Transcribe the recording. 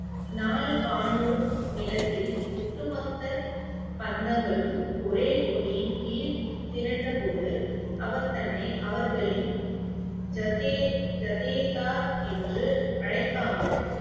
நாலு பானூர் நிலத்தில் ஒட்டுமொத்த பந்தங்களும் ஒரே கொடியின் கீழ் திரண்ட போது அவர் தன்னை அவர்களின் ஜதே~ ஜதேதார் என்று அழைக்காமல்